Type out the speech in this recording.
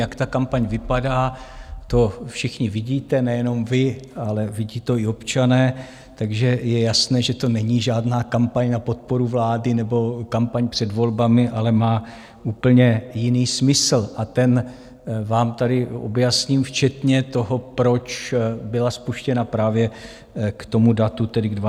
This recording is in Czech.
Jak ta kampaň vypadá, to všichni vidíte, nejenom vy, ale vidí to i občané, takže je jasné, že to není žádná kampaň na podporu vlády nebo kampaň před volbami, ale má úplně jiný smysl a ten vám tady objasním, včetně toho, proč byla spuštěna právě k tomu datu, tedy k 12. září.